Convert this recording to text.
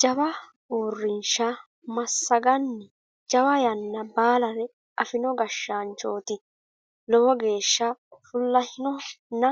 Jawa uurrinsha massagani jawa yanna baallare afino gashshaanchoti lowo geeshsha fulahinonna